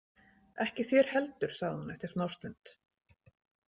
Ekki þér heldur, sagði hún eftir smástund.